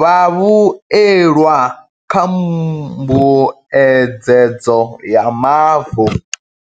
vhavhuelwa kha mbuedzedzo ya mavu.